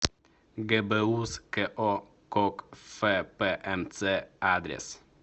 гбуз ко кокфпмц адрес